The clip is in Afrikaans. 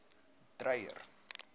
dreyer